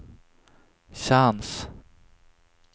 chans